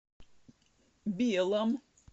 белом